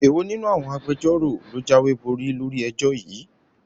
Èwo nínú àwọn Agbẹjọ́rò ló jáwéborí lórí ẹjọ́ yìí?